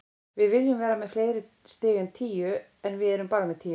Við viljum vera með fleiri stig en tíu, en við erum bara með tíu.